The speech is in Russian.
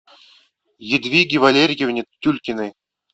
ядвиге валериевне тюлькиной